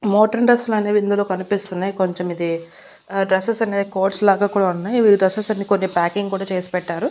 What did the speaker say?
Modern dress లు అనేవి ఇందులో కనిపిస్తున్నాయి కొంచం ఇది డ్రెస్సెస్ అనేవి కోట్స్ లాగా కూడా ఉన్నాయి ఇవి డ్రెస్సెస్ అన్ని కొన్ని ప్యాకింగ్ కూడా చేసి పెట్టారు.